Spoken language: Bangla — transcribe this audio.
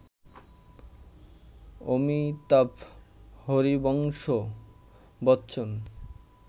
অমিতাভ হরিবংশ বচ্চন